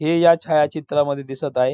हे या छायाचित्रामध्ये दिसत आहे.